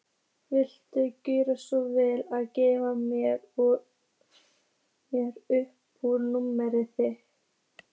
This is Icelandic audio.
Viltu gjöra svo vel að gefa mér upp númerið þitt?